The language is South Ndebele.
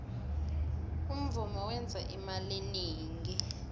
umvumo wenza imali eningi